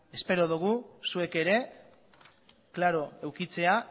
espero dogu zuek ere klaro edukitzea